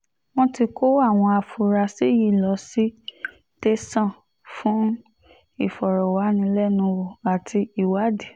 wọ́n ti kó àwọn afurasí yìí lọ sí tẹ̀sán fún ìfọ̀rọ̀wánilẹ́nuwò àti ìwádìí